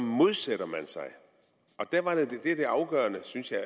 modsætter man sig der er det afgørende synes jeg